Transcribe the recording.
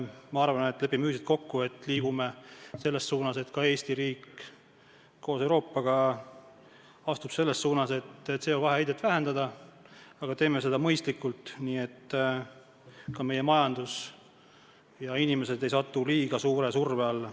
Ma arvan, et lepime ühiselt kokku, et ka Eesti riik koos Euroopaga astub samme CO2 heite vähendamise suunas, aga teeme seda mõistlikult, nii et meie majandus ja inimesed ei satuks liiga suure surve alla.